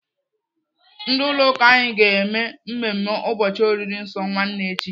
Ndị ụlọ ụka anyị ga-eme mmemme ụbọchị oriri nsọ nwanne echi.